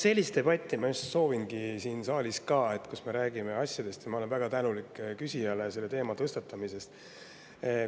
Sellist debatti ma just soovingi siin saalis, kus me räägime asjadest, ja ma olen väga tänulik küsijale selle teema tõstatamise eest.